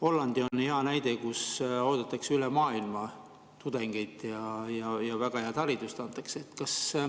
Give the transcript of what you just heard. Holland on hea näide, kus oodatakse üle maailma tudengeid ja antakse väga head haridust.